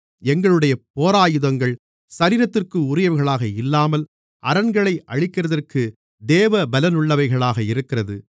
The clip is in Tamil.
எங்களுடைய போராயுதங்கள் சரீரத்திற்கு உரியவைகளாக இல்லாமல் அரண்களை அழிக்கிறதற்கு தேவபலமுள்ளவைகளாக இருக்கிறது